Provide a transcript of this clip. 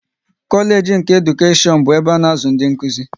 Kolage nke Edukashion bụ ebe a na-azụ ndị Nkụzi